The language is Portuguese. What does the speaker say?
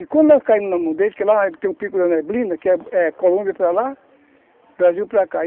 E quando nós caímos na mão dele, que lá tem o Pico da Neblina, que é Colômbia para lá, Brasil para cá.